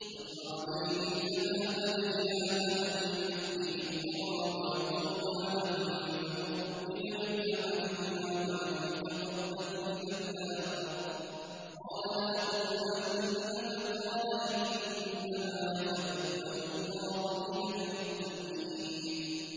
۞ وَاتْلُ عَلَيْهِمْ نَبَأَ ابْنَيْ آدَمَ بِالْحَقِّ إِذْ قَرَّبَا قُرْبَانًا فَتُقُبِّلَ مِنْ أَحَدِهِمَا وَلَمْ يُتَقَبَّلْ مِنَ الْآخَرِ قَالَ لَأَقْتُلَنَّكَ ۖ قَالَ إِنَّمَا يَتَقَبَّلُ اللَّهُ مِنَ الْمُتَّقِينَ